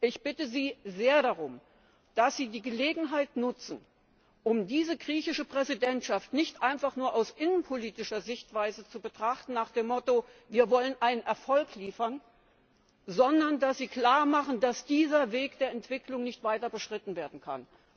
Ich bitte Sie sehr darum, dass Sie die Gelegenheit nutzen, um diese griechische Präsidentschaft nicht einfach nur aus innenpolitischer Sichtweise zu betrachten nach dem Motto Wir wollen einen Erfolg liefern, sondern dass Sie klarmachen, dass dieser Weg der Entwicklung nicht weiter beschritten werden kann.